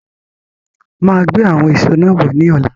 I'll come with those fruits tomorrow